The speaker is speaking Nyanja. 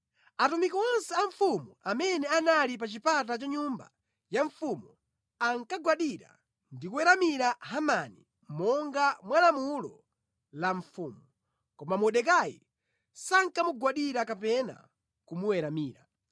Atumiki onse a mfumu amene anali pa chipata cha nyumba ya mfumu ankagwadira ndi kuweramira Hamani monga mwa lamulo la mfumu. Koma Mordekai sankamugwadira kapena kumuweramira.